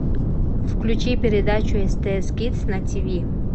включи передачу стс кидс на тиви